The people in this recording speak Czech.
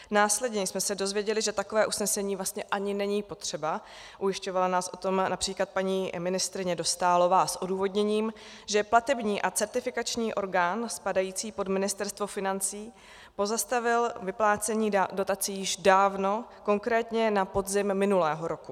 Následně jsme se dozvěděli, že takové usnesení vlastně ani není potřeba, ujišťovala nás o tom například paní ministryně Dostálová s odůvodněním, že platební a certifikační orgán spadající pod Ministerstvo financí pozastavil vyplácení dotací již dávno, konkrétně na podzim minulého roku.